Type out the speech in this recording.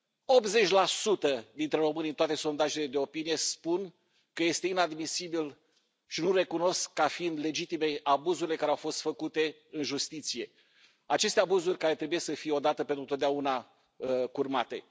80 dintre români în toate sondajele de opinie spun că este inadmisibil și nu recunosc ca fiind legitime abuzurile care au fost făcute în justiție, aceste abuzuri care trebuie să fie odată pentru totdeauna curmate.